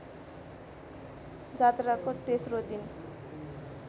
जात्राको तेस्रो दिन